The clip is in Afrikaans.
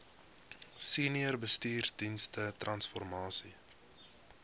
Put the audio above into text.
senior bestuursdienste transformasie